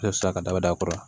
Ne ti se ka daba da a kɔrɔ